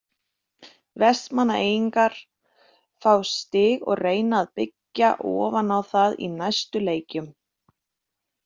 Vestmannaeyingar fá stig og reyna að byggja ofan á það í næstu leikjum.